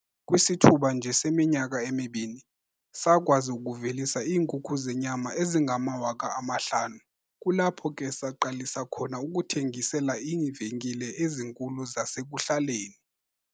"Kwisithuba nje seminyaka emibini, sakwazi ukuvelisa iinkukhu zenyama ezingama-5 000, kulapho ke saqalisa khona ukuthengisela iivenkile ezinkulu zasekuhlaleni."